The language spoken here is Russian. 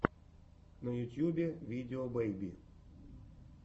на ютюбе видео бэйби